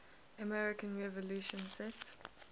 american revolution set